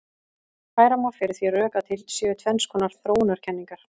Færa má fyrir því rök að til séu tvenns konar þróunarkenningar.